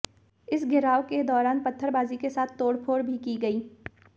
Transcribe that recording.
इस घेराव के दौरान पत्थरबाजी के साथ तोड़फोड़ भी की गई